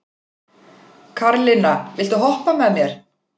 Karlinna, viltu hoppa með mér?